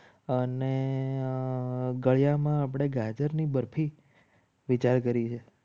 અને ગળામાં આપણે ગાજર ની બરફી વિચાર કરી છે.